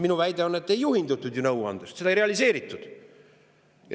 Minu väide on, et ei juhindutud ju nõuandest, seda ei realiseeritud.